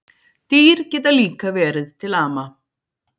Dýr geta líka verið til ama